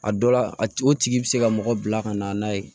A dɔ la a tigi bɛ se ka mɔgɔ bila ka na n'a ye